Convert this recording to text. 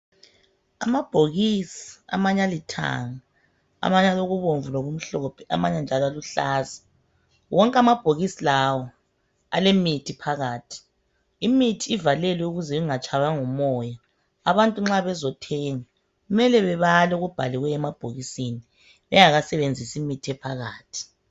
Amabhokisi, amanye alithanga, amanye alokubomvu lokumhlophe, amanye njalo aluhlaza. Wonke amabhokisi lawo alemithi phakathi. Imithi ivalelwe ukuze ingatshaywa ngumoya. Abantu nxa bezothenga kumele babale okubhaliweyo emabhokisini bengakasebenzisi imithi ephakathi.